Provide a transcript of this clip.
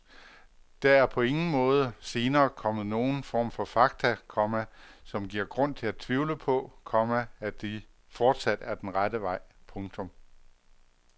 Der er på ingen måde senere kommet nogen form for fakta, komma som giver grund til at tvivle på, komma at det fortsat er den rette vej. punktum